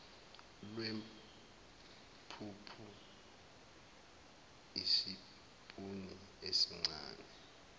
lwempuphu isipuni esincane